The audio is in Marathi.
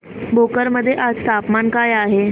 भोकर मध्ये आज तापमान काय आहे